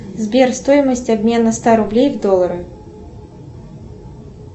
сбер стоимость обмена ста рублей в доллары